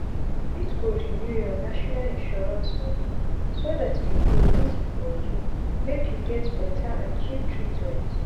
you fit go renew ur national insurance info so dat e go easi for u make u get beta and cheap treatment